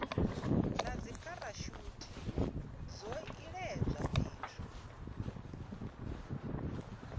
na dzipharashuthi zwo iledzwa fhethu